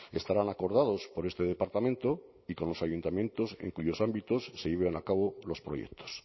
estarán acordados por este departamento y con los ayuntamientos en cuyos ámbitos se lleven a cabo los proyectos